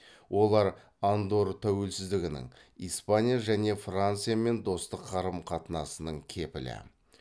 олар андорр тәуелсіздігінің испания және франциямен достық қарым қатынасының кепілі